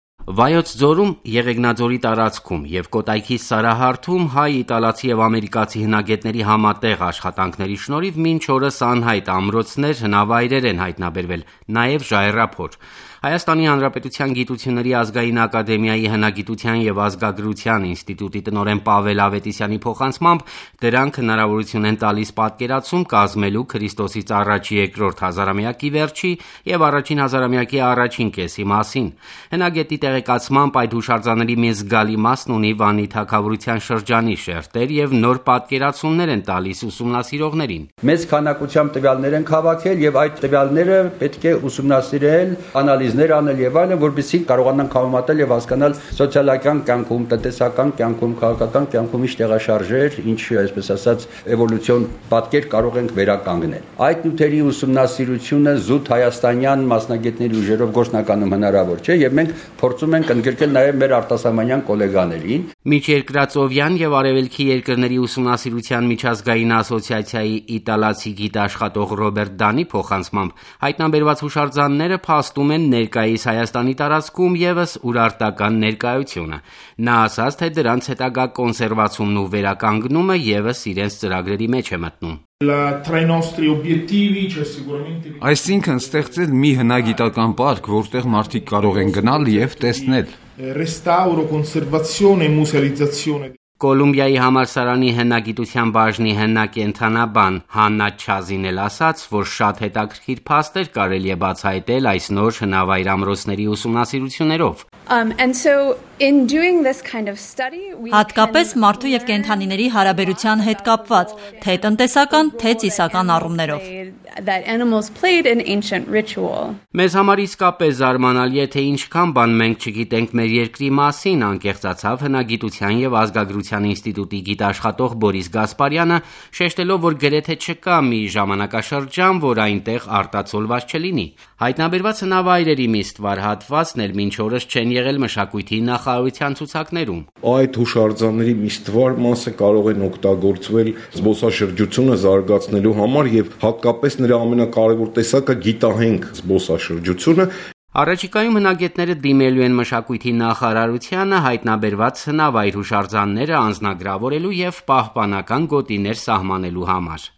Վայոց ձորում եւ Կոտայքի Սարահարթում հայ, իտալացի եւ ամերիկացի հնագետների համատեղ աշխատանքների շնորհիվ մինչ օրս անհայտ ամրոցներ, հնավայրեր են հայտնաբերվել, նաեւ՝ ժայռափոր: ՀՀ ԳԱԱ հնագիտության եւ ազգագրության ինստիտուտի տնօրեն Պավել Ավետիսյանի փոխանցմամբ՝ դրանք հնարավորություն են տալիս պատկերացում կազմելու Ք.ա. 2-րդ հազարամյակի վերջի եւ 1-ին հազարամյակի առաջին կեսի մասին: Հնագետի տեղեկացմամբ՝ այդ հուշարձանների մի զգալի մասն ունի Վանի թագավորության շրջանի շերտեր եւ նոր պատկերացումներ են տալիս ուսումնասիրողներին: «Մեծ քանակությամբ տվյալներ ենք հավաքել, որոնք պետք է ուսումնասիրել, անալիզներ անել եւ այլն, որպեսզի կարողանանք համեմատել եւ հասկանալ սոցիալական, տնտեսական, քաղաքական կյանքում ինչ տեղաշարժեր են եղել եւ, այսպես ասած, ինչ էվոլյուցիան պատկեր կարող ենք վերականգնել: Այդ նյութերի ուսումնասիրությունը զուտ հայաստանյան մասնագետների ուժերով հնարավոր չէ եւ մենք փորձում ենք ընդգրկել մեր արտասահմանյան կոլեգաներին»: Միջերկրածովյան եւ արեւելքի երկրների ուսումնասիրության միջազգային ասոցիացիայի իտալացի գիտաշխատող Ռոբերտ Դանի փոխանցմամբ՝ հայտնաբերված հուշարձանները փաստում են ներկայիս Հայաստանի տարածքում եւս Ուրարտական ներկայությունը: Նա ասաց, թե դրանց հետագա կոնսերվացումն ու վերականգնումը եւս իրենց ծրագրերի մեջ է մտնում: «Այսինքն՝ ստեղծել մի հնագիտական պարկ, որտեղ մարդիկ կարող են գնալ եւ տեսնել»: Կոլումբիայի համալսարանի հնագիտության բաժնի հնակենդանաբան Հաննա Չազին էլ ասաց, որ շատ հետաքրքիր փաստեր կարելի է բացահայտել այս նոր հնավայր-ամրոցների ուսումնասիրություններով: «Հատկապես, մարդու եւ կենդանիների հարաբերության հետ կապված՝ թե տնտեսական, թե ծիսական առումներով»: Մեզ համար իսկապես զարմանալի է, թե ինչքան բան մենք չգիտենք մեր եկրի մասին՝ անկեղծացավ Հնագիտության եւ ազգագրության ինստիտուտի գիտաշխատող Բորիս Գասպարյանը՝ շեշտելով, որ գրեթե չկա մի ժամանակաշրջան, որ այնտեղ արտացոլված չլինի: Հայտնաբերված հնավայրերի մի ստվար հատված էլ մինչ օրս չեն եղել մշակույթի նախարարության ցուցակներում: Այդ հուշարձանների մի ստվար մասը կարող են օգտագործվել զբոսաշրջությունը զարգացնելու համար, հատկապես՝ նրա ամենակարեւոր տեսակը՝ գիտահենք զբոսաշրջությունը: Առաջիկայում հնագետները դիմելու են մշակույթի նախարարությանը՝ հայտնաբերված հնավայր-հուշարձանները անձնագրավորելու եւ պահպանական գոտիներ սահմանելու համար: